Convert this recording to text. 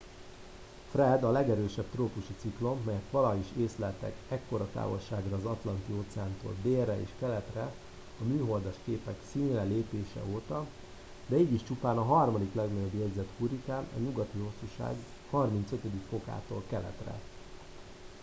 fred” a legerősebb trópusi ciklon melyet valaha is észleltek ekkora távolságra az atlanti-óceántól délre és keletre a műholdas képek színre lépése óta de így is csupán a harmadik legnagyobb jegyzett hurrikán a nyugati hosszúság 35°-tól keletre